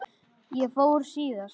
Ég fór síðast.